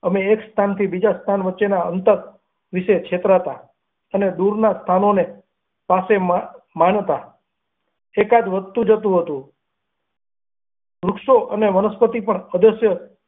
અમેં એક સ્થાનથી બીજા સ્થાન વચ્ચેના ખોર વિષે છેતરાતા, અને દુરનાં સ્થાનાને પાસે માં માનતા, એકાંત વધતું જતું હતું વૃક્ષો અને વનસ્પતિ પણ અદશ્ય.